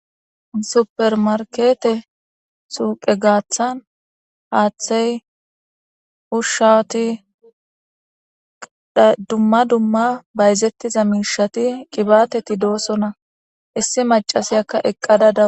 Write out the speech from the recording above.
supermarkete suuqe gaaththan haaththey ushawuti dumma dumma bayzettiza mishati qibateti doosona issi macasiyakka eqqada dawus